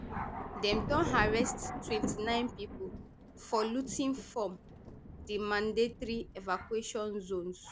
dem don arrest twenty-nine pipo for looting form di mandatory evacuation zones